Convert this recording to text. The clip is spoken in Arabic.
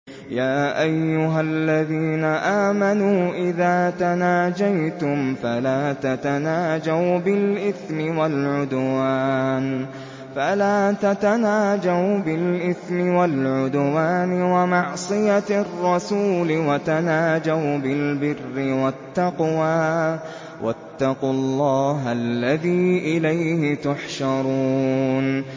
يَا أَيُّهَا الَّذِينَ آمَنُوا إِذَا تَنَاجَيْتُمْ فَلَا تَتَنَاجَوْا بِالْإِثْمِ وَالْعُدْوَانِ وَمَعْصِيَتِ الرَّسُولِ وَتَنَاجَوْا بِالْبِرِّ وَالتَّقْوَىٰ ۖ وَاتَّقُوا اللَّهَ الَّذِي إِلَيْهِ تُحْشَرُونَ